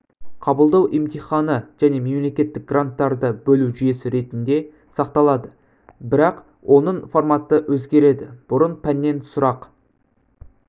қабылдау емтиханы және мемлекеттік гранттарды бөлу жүйесі ретінде сақталады бірақ оның форматы өзгереді бұрын пәннен сұрақ